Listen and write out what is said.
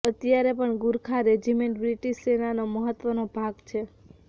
અત્યારે પણ Gurkha regiment British સેનાનો મહત્વનો ભાગ છે